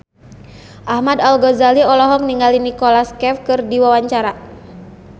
Ahmad Al-Ghazali olohok ningali Nicholas Cafe keur diwawancara